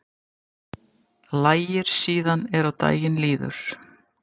Lægir síðan er á daginn líður